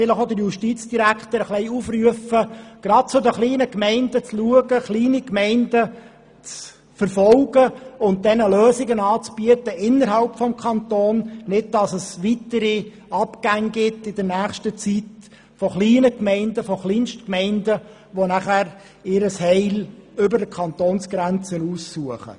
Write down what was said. Deshalb möchte ich auch den Justizdirektor aufrufen, insbesondere zu den kleinen Gemeinden zu schauen und ihnen Lösungen innerhalb des Kantons anzubieten, sodass es in der nächsten Zeit keine weiteren Abgänge von Kleinstgemeinden gibt, die ihr Heil über die Kantonsgrenze hinaus suchen.